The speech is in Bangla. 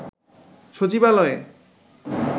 সচিবালয়ে